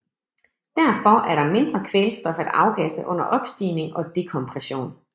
Derfor er der mindre kvælstof at afgasse under opstigning og dekompression